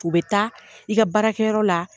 U bɛ taa, i ka baarakɛyɔrɔ la.